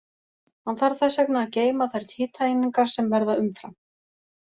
Hann þarf þess vegna að geyma þær hitaeiningar sem verða umfram.